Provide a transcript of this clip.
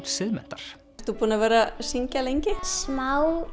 Siðmenntar ert þú búin að vera að syngja lengi já smá